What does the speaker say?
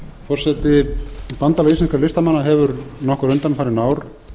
forseti bandalag íslenskra listamanna hefur nokkur undanfarin ár